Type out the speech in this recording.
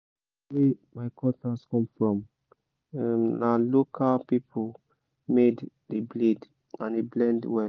place my cutlass come from—na local people made the blade and e bend well well